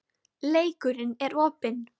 Leikurinn er opinn